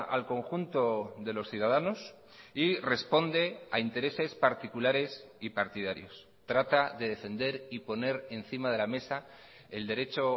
al conjunto de los ciudadanos y responde a intereses particulares y partidarios trata de defender y poner encima de la mesa el derecho